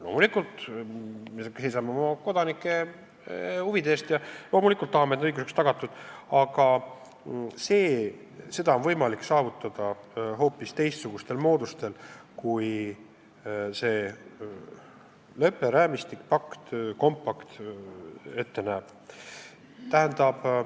Loomulikult, me seisame oma kodanike huvide eest ja loomulikult tahame, et nende õigused oleks tagatud, aga seda on võimalik saavutada hoopis teistsuguste moodustega, kui see lepperaamistik, pakt, compact ette näeb.